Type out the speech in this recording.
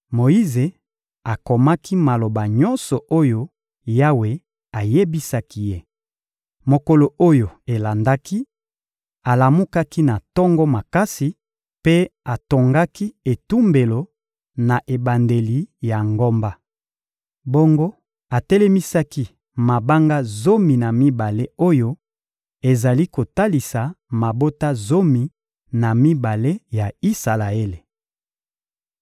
Moyize akomaki maloba nyonso oyo Yawe ayebisaki ye. Mokolo oyo elandaki, alamukaki na tongo makasi mpe atongaki etumbelo na ebandeli ya ngomba. Bongo, atelemisaki mabanga zomi na mibale oyo ezali kotalisa mabota zomi na mibale ya Isalaele.